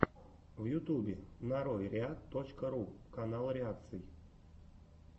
в ютубе нарой реакт точка ру канал реакций